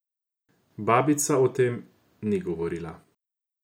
Babica o tem ni govorila.